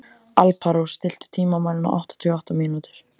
Alparós, stilltu tímamælinn á áttatíu og átta mínútur.